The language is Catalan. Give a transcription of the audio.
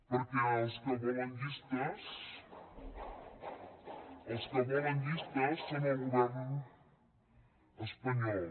perquè els que volen llistes els que volen llistes són el govern espanyol